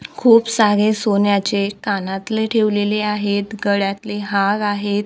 खूप सारे सोन्याचे कानातले ठेवलेले आहेत गळ्यातले हार आहेत.